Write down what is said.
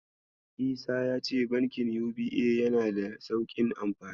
Isa yace Bankin UBA yanada da sauƙin amfani.